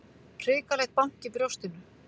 Hrikalegt bank í brjóstinu.